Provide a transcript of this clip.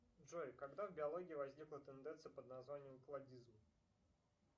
джой когда в биологии возникла тенденция под названием кладизм